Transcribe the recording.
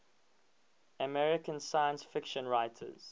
american science fiction writers